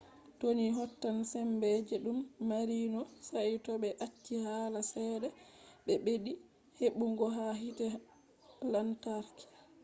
to ni hotan sembe je ɗum mari no saito ɓe acci hala ceede ɓe ɓeddi heɓugo ha hite lantarki